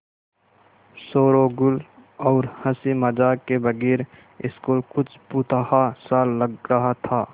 शोरोगुल और हँसी मज़ाक के बगैर स्कूल कुछ भुतहा सा लग रहा था